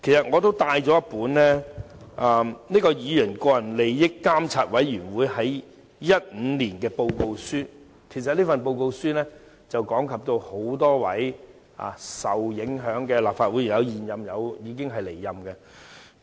我帶來了議員個人利益監察委員會2015年發表的報告書，講及多位受影響的議員，當中有現任亦有離任的。